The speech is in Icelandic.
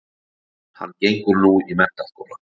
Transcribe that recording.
Hann gengur nú í menntaskóla